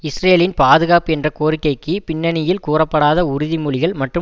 இஸ்ரேலின் பாதுகாப்பு என்ற கோரிக்கைக்கு பின்னணியில் கூறப்படாத உறுதி மொழிகள் மற்றும்